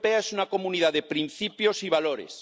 Unión Europea es una comunidad de principios y valores.